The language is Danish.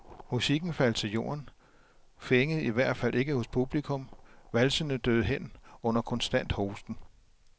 Musikken faldt til jorden, fængede i hvert fald ikke hos publikum, valsene døde hen under konstant hosten.